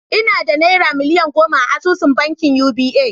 Ina da naira miliyan goma a asusun bankin Uba